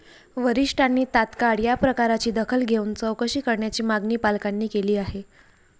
वरीष्ठांनी तात्काळ या प्रकाराची दखल घेऊन चौकशी करण्याची मागणी पालकांनी केली आहे.